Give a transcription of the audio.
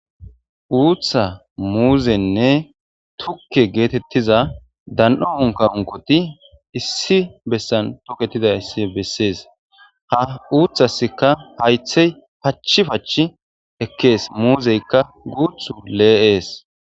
Uutha muuzenne tukke geetettiza dan'o unka unkoti issi bessan toketidayssi bessees ha uuththasika haythey pachi pach ekkees muuzeykka guuthu lee'ees.